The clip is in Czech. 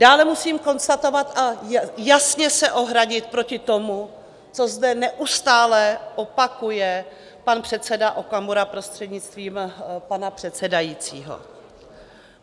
Dále musím konstatovat a jasně se ohradit proti tomu, co zde neustále opakuje pan předseda Okamura, prostřednictvím pana předsedajícího.